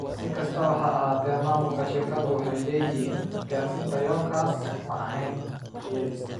Si kastaba ha ahaatee, maamulka shirkaddu waxay leeyihiin, gaarista yoolkaas ma ahayn riyadiisa.